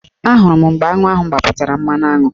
Ahụrụ m mgbe aṅụ ahụ gbapụtara mmanụaṅụ